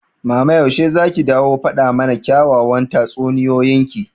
mama yaushe zaki dawo faɗa mana kyawawan tatsuniyoyin ki?